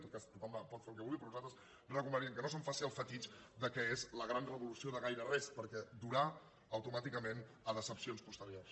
en tot cas tothom pot fer el que vulgui però nosaltres recomanaríem que no se’n fes el fetitxe que és la gran revolució de gaire res perquè durà automàticament a decepcions posteriors